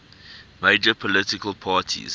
major political parties